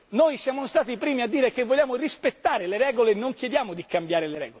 Noi siamo stati i primi a dire che vogliamo rispettare le regole e non chiediamo di cambiarle.